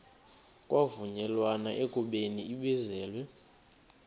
kwavunyelwana ekubeni ibizelwe